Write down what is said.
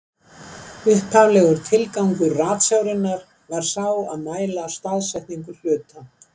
Upphaflegur tilgangur ratsjárinnar var sá að mæla staðsetningu hluta.